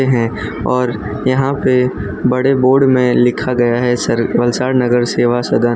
हैं और यहां पे बड़े बोर्ड में लिखा गया है सर वलसाड नगर सेवा सदन --